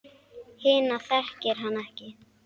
Hina þekkir hann ekki.